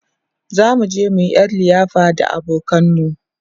zamu je muyi ƴar liyafa da abokanan mu